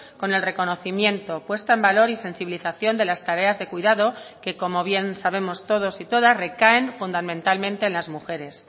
con el reconocimiento puesta en valor y sensibilización de las tareas de cuidado que como bien sabemos todos y todas recaen fundamentalmente en las mujeres